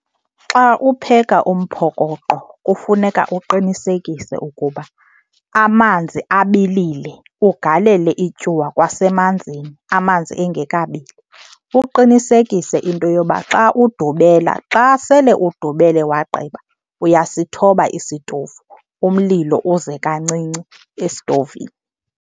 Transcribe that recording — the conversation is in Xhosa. Xa upheka umphokoqo kufuneka uqinisekise ukuba amanzi abilile, ugalele ityuwa kwasemanzini, amanzi engekabili. Uqinisekise into yoba xa udubela, xa sele udubele wagqiba uyasithoba isitovu, umlilo uze kancinci esitovini.